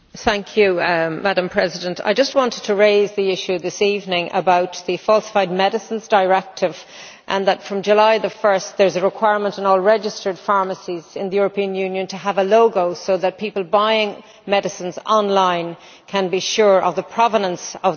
Madam President, I just wanted to raise the issue this evening of the Falsified Medicines Directive and to say that, from 1 July, there is a requirement on all registered pharmacies in the European Union to have a logo so that people buying medicines online can be sure of the provenance of those drugs.